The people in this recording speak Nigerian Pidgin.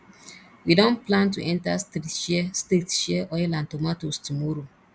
we don plan to enter street share street share oil and tomatoes tomorrow